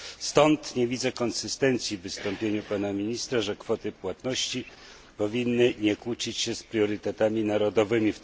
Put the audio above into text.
Stąd nie widzę konsystencji w wystąpieniu pana ministra, że kwoty płatności powinny nie kłócić się z priorytetami narodowymi.